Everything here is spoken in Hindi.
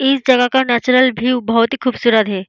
इस जगह का नेचुरल व्यू बहुत ही खूबसूरत है।